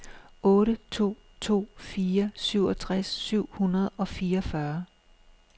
otte to to fire syvogtres syv hundrede og fireogfyrre